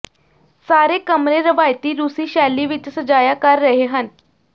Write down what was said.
ਸਾਰੇ ਕਮਰੇ ਰਵਾਇਤੀ ਰੂਸੀ ਸ਼ੈਲੀ ਵਿੱਚ ਸਜਾਇਆ ਕਰ ਰਹੇ ਹਨ